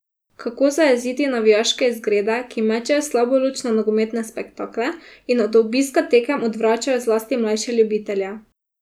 Kako zajeziti navijaške izgrede, ki mečejo slabo luč na nogometne spektakle in od obiska tekem odvračajo zlasti mlajše ljubitelje?